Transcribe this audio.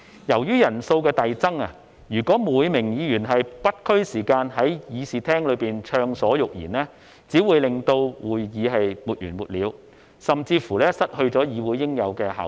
由於人數的遞增，如果每名議員也沒有時限在議事廳暢所欲言，只會令會議沒完沒了，甚至失去議會應有的效率。